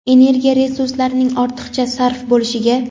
energiya resurslarning ortiqcha sarf bo‘lishiga;.